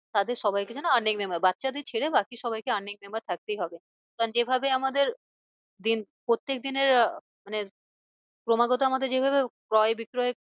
তাদের সবাইকে যেন বাচ্চাদের ছেড়ে বাকি সবাইকে earning member থাকতেই হবে। কারণ যে ভাবে আমাদের দিন প্রত্যেক দিনের আহ মানে ক্রমাগত আমাদের যে ভাবে ক্রয় বিক্রয়।